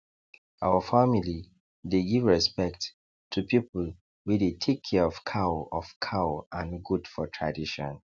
our family dey give respect to people wey dey take care of cow of cow and goat for tradition